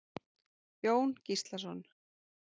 Jón Gíslason.